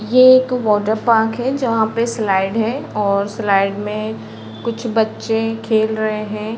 ये एक water park है। जहाँ पे स्लाइड है और स्लाइड में कुछ बच्चे खेल रहे हैं।